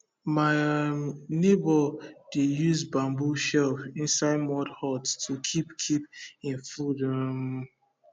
my um neighbour dey use bamboo shelf inside mud hut to keep keep him food um